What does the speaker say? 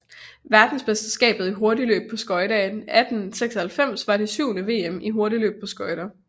Verdensmesterskabet i hurtigløb på skøjter 1896 var det syvende VM i hurtigløb på skøjter